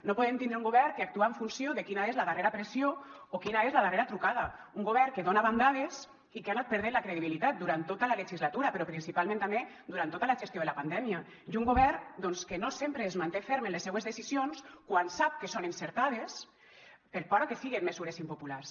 no podem tindre un govern que actua en funció de quina és la darrera pressió o quina és la darrera trucada un govern que dona bandades i que ha anat perdent la credibilitat durant tota la legislatura però principalment també durant tota la gestió de la pandèmia i un govern doncs que no sempre es manté ferm en les seues decisions quan sap que són encertades per por a que siguen mesures impopulars